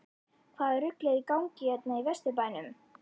HVAÐA RUGL ER Í GANGI HÉRNA Í VESTURBÆNUM???